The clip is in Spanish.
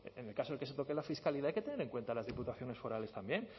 en el caso que se toque la fiscalidad hay que tener en cuenta a las diputaciones forales también